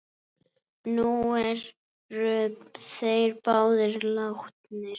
Nú eru þeir báðir látnir.